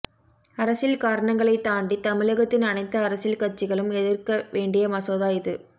அரசியல் காரணங்களைத் தாண்டி தமிழகத்தின் அனைத்து அரசியல் கட்சிகளும் எதிர்க்க வேண்டிய மசோதா இது